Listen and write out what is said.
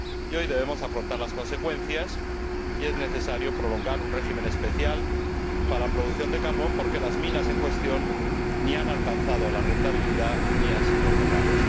Hoy debemos afrontar las consecuencias es necesario prolongar un régimen especial para la producción de carbón porque las minas en cuestión ni han alcanzado la rentabilidad ni han sido cerradas.